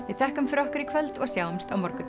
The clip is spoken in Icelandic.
við þökkum fyrir okkur í kvöld og sjáumst á morgun